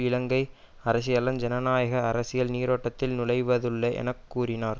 இலங்கை அரசியலன் ஜனநாயக அரசியல் நீரோட்டத்தில் நுழைவதுள்ளே என கூறினார்